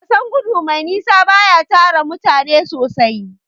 Wasan gudu mai nisa baya tara mutane sosai.